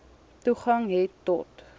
toegang het tot